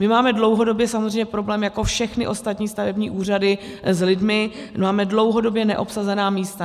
My máme dlouhodobě samozřejmě problém jako všechny ostatní stavební úřady s lidmi, máme dlouhodobě neobsazená místa.